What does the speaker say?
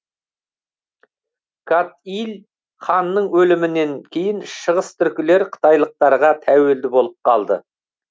кат иль ханның өлімінен кейін шығыстүркілер қытайлықтарға тәуелді болып қалды